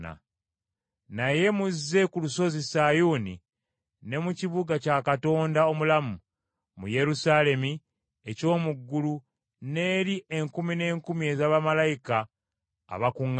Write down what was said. Naye muzze ku lusozi Sayuuni, ne mu kibuga kya Katonda omulamu, mu Yerusaalemi eky’omu ggulu n’eri enkumi n’enkumi ez’abamalayika abakuŋŋaanye,